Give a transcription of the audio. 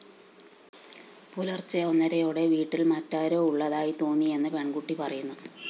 പുലര്‍ച്ചെ ഒന്നരയോടെ വീട്ടില്‍ മറ്റാരോ ഉളളതായി തോന്നിയെന്ന് പെണ്‍കുട്ടി പറയുന്നു